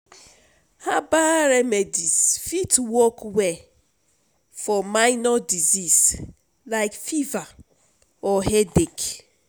herbal remedies fit work well for minor disease like fever or headache.